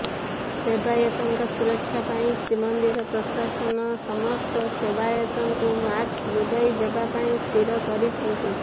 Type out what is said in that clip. ସେବାୟତଙ୍କ ସୁରକ୍ଷା ପାଇଁ ଶ୍ରୀମନ୍ଦିର ପ୍ରଶାସନ ସମସ୍ତ ସେବାୟତଙ୍କୁ ମାସ୍କ ଯୋଗାଇ ଦେବାପାଇଁ ସ୍ଥିର କରିଛନ୍ତି